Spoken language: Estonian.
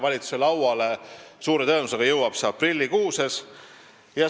Valitsuse lauale jõuab see suure tõenäosusega aprillikuus.